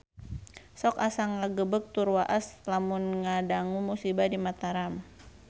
Sok asa ngagebeg tur waas lamun ngadangu musibah di Mataram